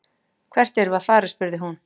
Hvert erum við að fara, spurði hún.